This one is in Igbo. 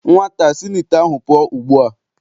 Nwata a si n' ite ahụ pụọ ugbu a!